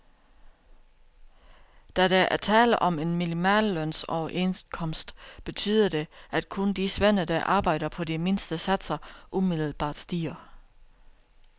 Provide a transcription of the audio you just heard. Da der er tale om en minimallønsoverenskomst betyder det, at kun de svende, der arbejder på de mindste satser umiddelbart stiger.